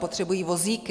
Potřebují vozíky.